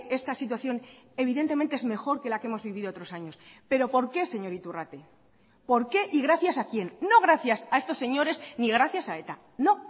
esta situación evidentemente es mejor que la que hemos vivido otros años pero por qué señor iturrate por qué y gracias a quien no gracias a estos señores ni gracias a eta no